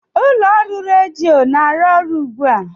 ụlọ ọrụ redio na-arụ ọrụ ugbu a?